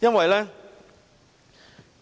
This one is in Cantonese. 因為